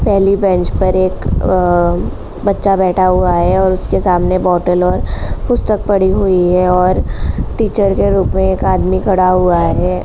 पहली बेंच पर एक अ बच्चा बैठा हुआ है और उसके सामने बोतल है पुस्तक पड़ी हुई है और टीचर के रूप में एक आदमी खड़ा हुआ है।